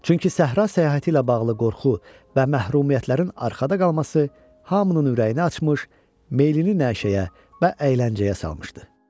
Çünki səhra səyahəti ilə bağlı qorxu və məhrumiyyətlərin arxada qalması hamının ürəyini açmış, meylini nəşəyə və əyləncəyə salmışdı.